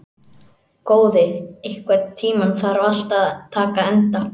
Góði, einhvern tímann þarf allt að taka enda.